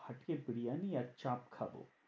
ফাটিয়ে বিরিয়ানি আর চাপ খাবো।